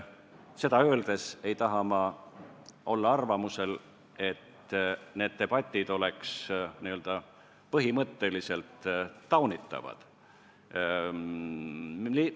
Seda öeldes ei taha ma avaldada arvamust, nagu need debatid oleks n-ö põhimõtteliselt taunitavad.